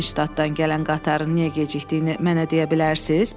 Nəşstatdan gələn qatarın niyə gecikdiyini mənə deyə bilərsiz?